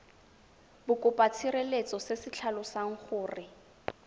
bokopatshireletso se se tlhalosang gore